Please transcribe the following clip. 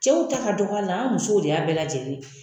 Cɛw ta ka dɔgɔ a la an musow de y'a bɛɛ lajɛlen ye